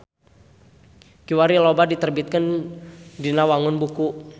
Kiwari loba diterbitkeun dina wangun buku.